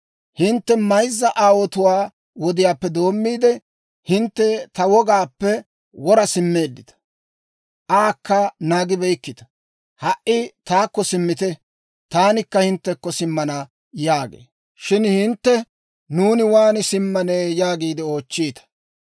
Hintte mayzza aawotuwaa wodiyaappe doommiide, hintte ta wogaappe wora simmeeddita; aakka naagibeykkita. Ha"i taakko simmite; taanikka hinttekko simmana» yaagee. Shin hintte, «Nuuni waan simmanne?» yaagiide oochchiita.